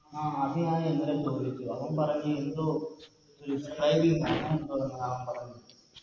ആ അത് ഞാനിന്നലെ ചോയിച്ച് അവൻ പറഞ്ഞ് യെന്തോ Scribe അങ്ങനെ എന്തോ ആ അവൻ പറഞ്ഞത്